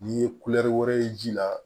N'i ye wɛrɛ ye ji la